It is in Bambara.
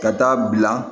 Ka taa bila